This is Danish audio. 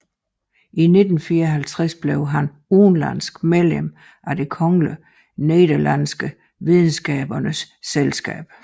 I 1954 blev han udenlandsk medlem af Det Kongelige Nederlandske Videnskabernes Selskab